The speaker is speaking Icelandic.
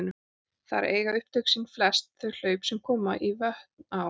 Þar eiga upptök sín flest þau hlaup sem koma í vötn á